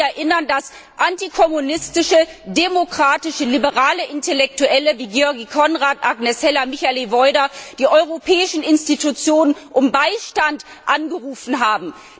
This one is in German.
Ich darf Sie daran erinnern, dass antikommunistische demokratische liberale Intellektuelle wie György Konrad, Agnes Heller und Michael Woida die europäischen Institutionen um Beistand angerufen haben.